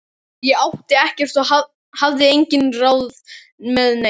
Ég átti ekkert og hafði engin ráð með neitt.